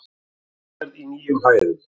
Gullverð í nýjum hæðum